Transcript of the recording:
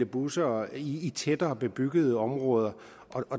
busser i tættere bebyggede områder